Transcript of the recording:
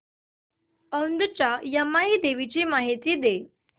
औंधच्या यमाई देवीची मला माहिती दे